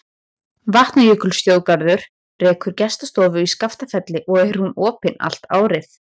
Vatnajökulsþjóðgarður rekur gestastofu í Skaftafelli og er hún opin allt árið.